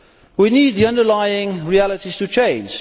We need the underlying realities to change.